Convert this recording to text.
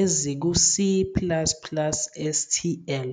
eziku- C plus plus STL.